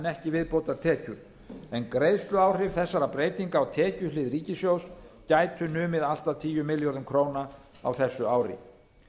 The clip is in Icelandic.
ekki viðbótartekjur en greiðsluáhrif þessarar breytingar á tekjuhlið ríkissjóðs gæti numið allt að tíu milljörðum króna á þessu ári